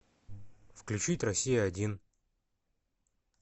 включить россия один